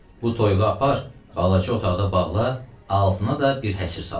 Bu toyuğu apar, balaca otaqda bağla, altına da bir həsir sal.